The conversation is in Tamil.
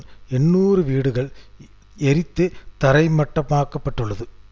இடமறிதல் வேண்டுமென்று கூறிற்று